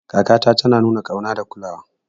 Kakata tana nuna ƙauna da kulawa.